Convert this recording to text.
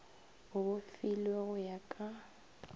le bofilwe go ya ka